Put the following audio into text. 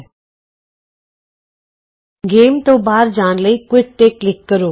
quit ਖੇਡ ਤੋਂ ਬਾਹਰ ਜਾਣ ਲਈ ਕੁਇਟ ਤੇ ਕਲਿਕ ਕਰੋ